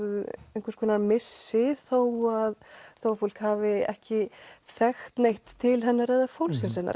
einhvers konar missi þó að þó að fólk hafi ekki þekkt neitt til hennar eða fólksins hennar